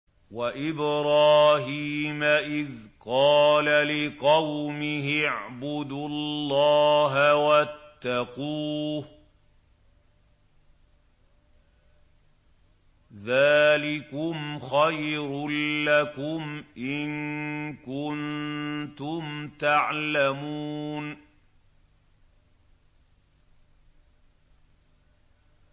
وَإِبْرَاهِيمَ إِذْ قَالَ لِقَوْمِهِ اعْبُدُوا اللَّهَ وَاتَّقُوهُ ۖ ذَٰلِكُمْ خَيْرٌ لَّكُمْ إِن كُنتُمْ تَعْلَمُونَ